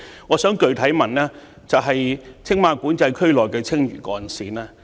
我的補充質詢關乎青馬管制區內的青嶼幹線。